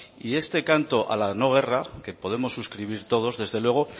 este canto a la no guerra que podemos suscribir todos desde luego